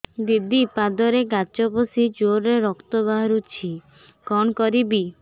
ଦିଦି ପାଦରେ କାଚ ପଶି ଜୋରରେ ରକ୍ତ ବାହାରୁଛି କଣ କରିଵି